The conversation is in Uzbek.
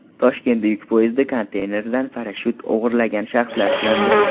Toshkentda yuk poyezdi konteyneridan parashyut o‘g‘irlagan shaxslar ushlandi.